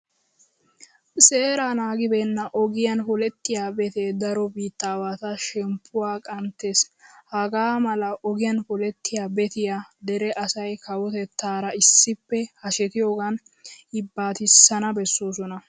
Seeraa naagibeenna ogiyan polettiya betee daro biittaawatu shemppuwa qanttees. Hagaa mala ogiyan polettiya betiya dere asay kawotettaara issippe hashetiyogan yibbaatissana bessoosona.